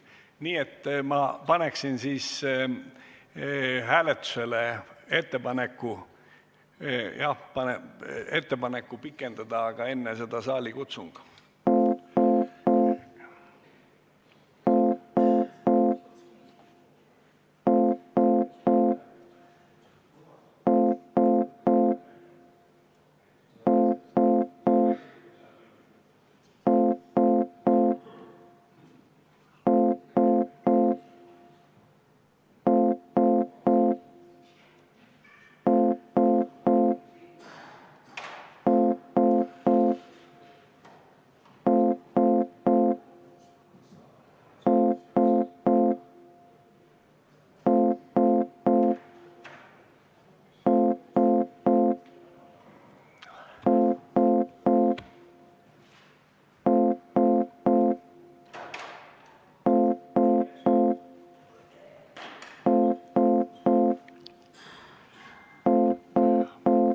Nii et ma panen hääletusele ettepaneku istungit pikendada, aga enne seda on saalikutsung.